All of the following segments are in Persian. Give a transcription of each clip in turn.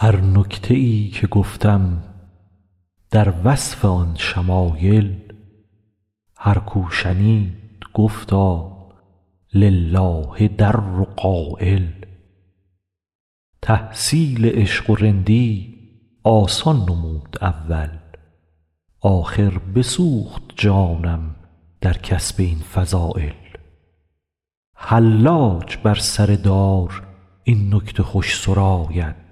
هر نکته ای که گفتم در وصف آن شمایل هر کو شنید گفتا لله در قایل تحصیل عشق و رندی آسان نمود اول آخر بسوخت جانم در کسب این فضایل حلاج بر سر دار این نکته خوش سراید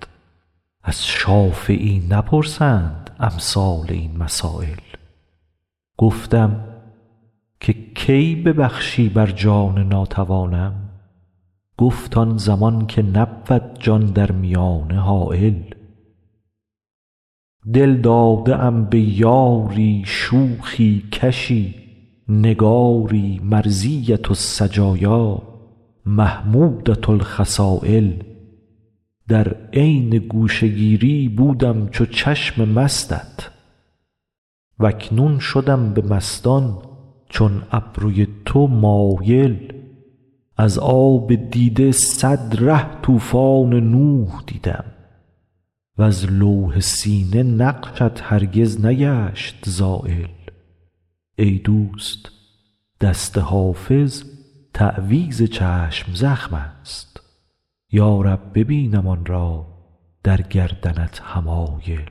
از شافعی نپرسند امثال این مسایل گفتم که کی ببخشی بر جان ناتوانم گفت آن زمان که نبود جان در میانه حایل دل داده ام به یاری شوخی کشی نگاری مرضیة السجایا محمودة الخصایل در عین گوشه گیری بودم چو چشم مستت و اکنون شدم به مستان چون ابروی تو مایل از آب دیده صد ره طوفان نوح دیدم وز لوح سینه نقشت هرگز نگشت زایل ای دوست دست حافظ تعویذ چشم زخم است یا رب ببینم آن را در گردنت حمایل